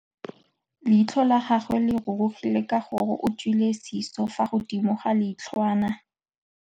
Leitlhô la gagwe le rurugile ka gore o tswile sisô fa godimo ga leitlhwana.